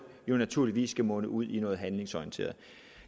naturligvis skal munde ud i noget handlingsorienteret